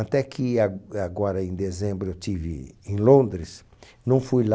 Até que ag, agora em dezembro eu estive em Londres, não fui lá,